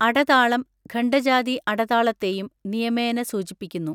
അടതാളം ഖണ്ഡജാതി അടതാളത്തെയും നിയമേന സൂചിപ്പിക്കുന്നു.